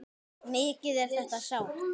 Mikið er þetta sárt.